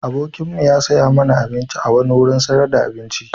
Abokimu ya saya mana abinci a wani wurin sayar da abinci.